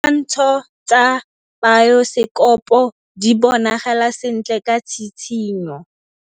Ditshwantshô tsa biosekopo di bonagala sentle ka tshitshinyô.